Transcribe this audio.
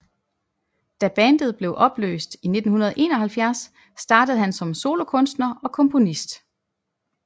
Da bandet blev opløst i 1971 startede han som solokunstner og komponist